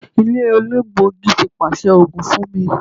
Ile elegbogi ti paṣẹ oogun fun mi